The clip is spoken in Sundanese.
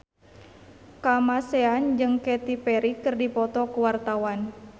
Kamasean jeung Katy Perry keur dipoto ku wartawan